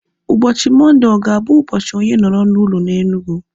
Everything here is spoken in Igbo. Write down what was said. Ụbọchị Mọnde ọ ga-abụ ụbọchị onye nọrọ n'ụlọ na Enugu?